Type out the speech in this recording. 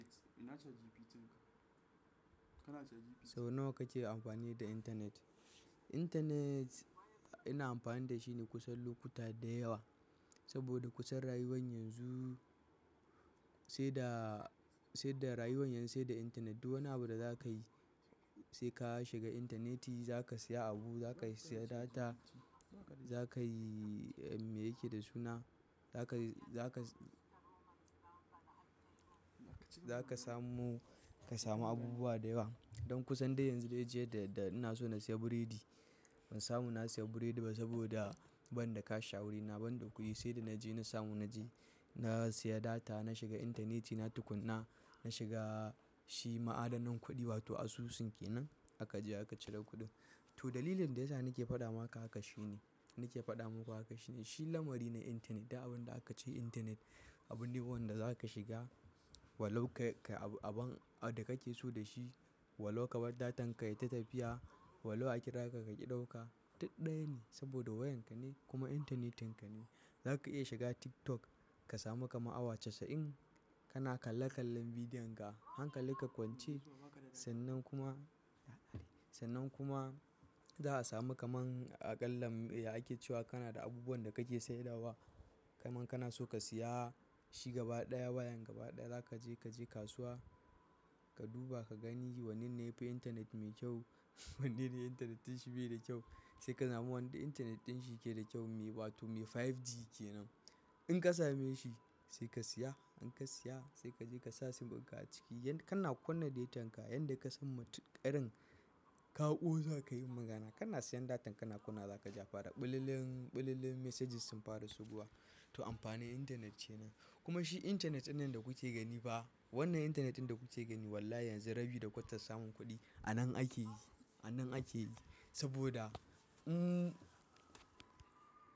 Sau nawa kake amfani da intanet? Intanet ina amfani da shi ne kusan lokuta da yawa. Saboda kusan rayuwar yanzu sai da, sai da rayuwar yanzu sai da intanet. Duk wani abu da za ka yi sai ka shiga intaneti za ka siya abu, za ka siya data, za ka yi me yake da suna, za ka, za ka, za ka samu, ka samu abubuwa da yawa. Don kusan dai yanzu dai jiya da, da ina so na siya biredi ban samu na siya biredi ba saboda ban da cash a wuri. Na ban da kuɗi sai da na je na samu na je na siya data, na shiga intaneti, na tukuna, na shiga shi ma'adanan kuɗi wato asusun kenan aka je aka cire kuɗin. To dalilin da yasa nake faɗa maka haka shine, nake faɗa muku haka shine shi lamari ne intanet. Duk abin da aka ce intanet abune wanda za ka shiga, walau ka, kai abun, abin da kake so da shi walau ka bar datan ka ya yi ta tafiya walau a kira ka ka ki ɗauka. Duk ɗaya ne saboda wayan ka ne kuma intanetin ka ne. Za ka iya shiga TikTok ka samu ka ma awa casa'in ka na kalle kallon bidiyon ka. Hankalinka kwance sannan kuma, sannan kuma za a samu ka man aƙalla ake cewa kana da abubuwan da kake saidawa. Kaman kana so ka siya shi gaba ɗaya wayan gaba ɗaya za ka je, ka je kasuwa ka duba ka gani wanne ne yafi intanet mai kyau, wanne ne intanetin shi bai da kyau. Sai ka samu wanda intanet din shi yake da kyau mai wato mai 5G kenan. In ka same shi sai ka siya. In ka siya sai ka je ka sa sim ka a ciki. Yanda kana kunna datan ka, yanda ka san matuƙarin ka'o za ka yi magana kana siyan datan kana kuna za ka ja farar ɓalallen, ɓalallen messages sun fara suguwa. To amfanin intanet ne. Kuma shi intanetin nan da kuke gani ba wannan intanetin da kuke gani wallahi yanzu rabi da kwatar samun kuɗi a nan ake yi, a nan ake yi saboda umm.